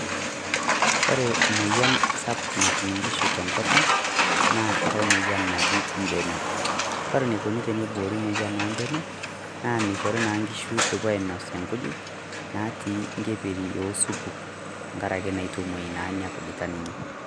Kore moyian sapuk natuum nkishu te nkopang naa nkai moyian naji mbenek. Kore neikoni teneboori moyian o mbenek naa meishori na nkishu apoo ainos enkujiit naati ng'eperi osupuuk tang'araki neitomoyian nia nkujitaa ninye.